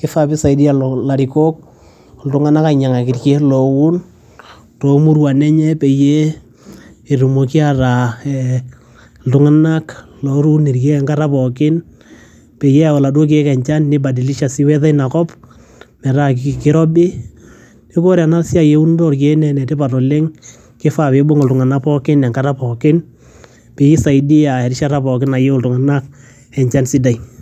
kifaa piisaidia ilarikok, iltung'anak ainyang'aki irkeek looun too muruan enye peyie etumoki ataa ee iltung'anak looun irkeek enkata pookin peyie eyau laduo keek enchan nibadilisha sii weather ina kop metaa kirobi. Neeku ore ena siai eunoto orkeek nee ene tipat oleng' kifaa piibung' iltung'anak pookin enkata pookin pee isaidia enkata pookin nayeu iltung'anak enchan sidai.